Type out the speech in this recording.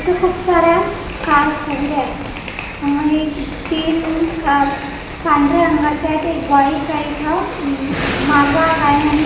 इथं खूप साऱ्या कार्स वगेरे आहेत अ ए तीन कार पांढऱ्या रंगाच्या आहेत एक बाईक आहे इथं उम्म मालवाहक आहे आणि का--